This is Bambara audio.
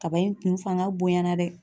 Kaba in kun fanga bonya na dɛ.